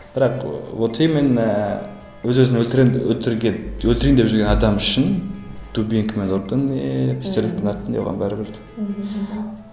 бірақ ы вот именно өз өзін өлтіремін өлтірген өлтірейін деп жүрген адам үшін дубинкамен ұрдың не пистолетпен аттың не оған бәрібір мхм